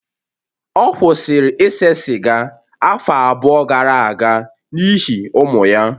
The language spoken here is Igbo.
Ọ kwụsịrị ise sịga afọ abụọ gara aga n'ihi ụmụ ya